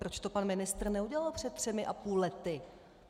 Proč to pan ministr neudělal před třemi a půl lety?